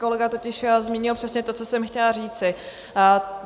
Kolega totiž zmínil přesně to, co jsem chtěla říci.